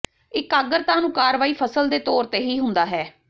ਇਕਾਗਰਤਾ ਨੂੰ ਕਾਰਵਾਈ ਫਸਲ ਦੇ ਤੌਰ ਤੇ ਹੀ ਹੁੰਦਾ ਹੈ